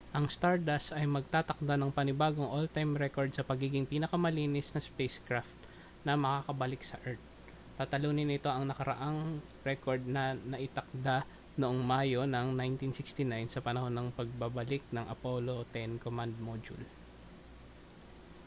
ang stardust ay magtatakda ng panibagong all-time record sa pagiging pinakamabilis na spacecraft na makababalik sa earth tatalunin nito ang nakaraang record na naitakda noong mayo ng 1969 sa panahon ng pagbabalik ng apollo x command module